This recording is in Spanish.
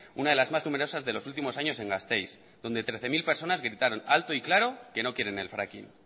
una de las más numerosas de los últimos años en gasteiz donde trece mil personas gritaron alto y claro que no quieren el fracking